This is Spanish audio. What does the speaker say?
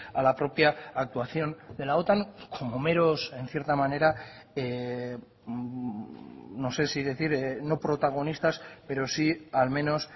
a la propia actuación de la otan como meros en cierta manera no sé si decir no protagonistas pero sí al menos